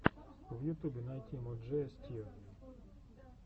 в ютубе найти мо джея стью